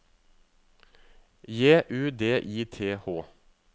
J U D I T H